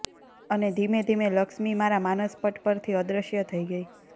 અને ધીમે ધીમે લક્ષ્મી મારા માનસ પટ પરથી અદ્રશ્ય થઇ ગઈ